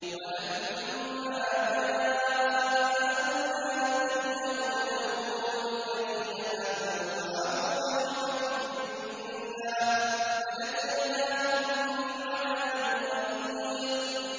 وَلَمَّا جَاءَ أَمْرُنَا نَجَّيْنَا هُودًا وَالَّذِينَ آمَنُوا مَعَهُ بِرَحْمَةٍ مِّنَّا وَنَجَّيْنَاهُم مِّنْ عَذَابٍ غَلِيظٍ